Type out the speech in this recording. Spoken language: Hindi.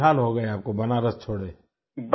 तो कितने साल हो गए आपको बनारस छोड़े